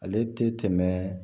Ale tɛ tɛmɛ